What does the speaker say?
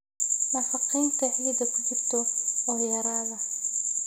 Nafaqaynta ciidda ku jirta oo yaraada.